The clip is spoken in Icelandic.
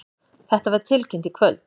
Þetta var tilkynnt í kvöld